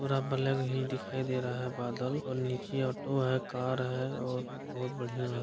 पुरा ब्लैक ही दिखाई दे रहा है बादल और नीचे ऑटो है कार है और बहुत बढ़ियां है।